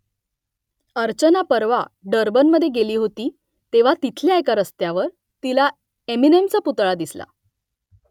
अर्चना परवा डर्बनमध्ये गेली होती तेव्हा तिथल्या एका रस्त्यावर तिला एमिनेमचा पुतळा दिसला